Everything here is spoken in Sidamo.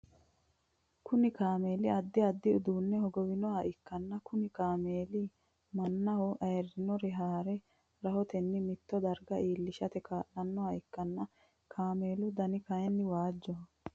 Kunni kaameeli addi addi uduune hogowanoha ikanna kunni kaameeli manaho ayirinore haare rahotenni mitto darga iilishate kaa'lanoha ikanna kameelu danni kayinni waajoho.